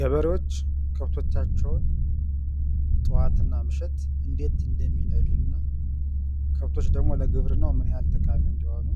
ገበሬዎች ከብቶቻቸዉን ጥዋት እና ምሸት እንዴት እንደሚነዱ እና ከብቶች ደግሞ ለግብርናዉ ምን ያህል ጠቃሚ እንደሆኑ